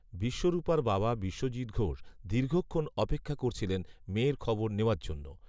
বিশ্বরূপার বাবা বিশ্বজিৎ ঘোষ দীর্ঘক্ষণ অপেক্ষা করছিলেন মেয়ের খবর নেওয়ার জন্য